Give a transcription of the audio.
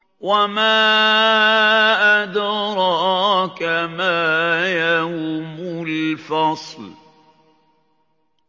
وَمَا أَدْرَاكَ مَا يَوْمُ الْفَصْلِ